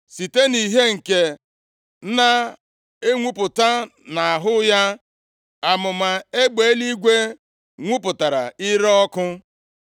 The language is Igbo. Site nʼìhè nke na-enwupụta nʼahụ ya, amụma egbe eluigwe nwupụtara ire ọkụ.